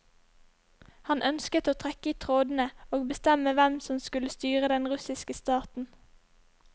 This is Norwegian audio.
Han ønsket å trekke i trådene og bestemme hvem som skulle styre den russiske staten.